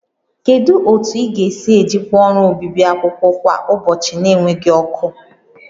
Kedu otu ị ga-esi ejikwa ọrụ obibi akwụkwọ kwa ụbọchị na-enweghị ọkụ?